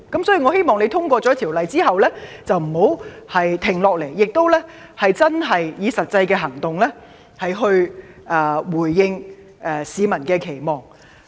所以，我希望政府在《條例草案》通過後不要停下來，以實際行動回應市民的期望。